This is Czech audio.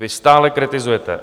Vy stále kritizujete.